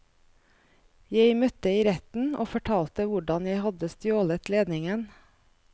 Jeg møtte i retten og fortalte hvordan jeg hadde stjålet ledningen.